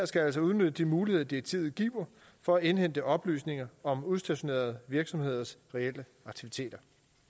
skal altså udnytte de muligheder direktivet giver for at indhente oplysninger om udstationerede virksomheders reelle aktiviteter